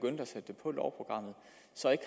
satte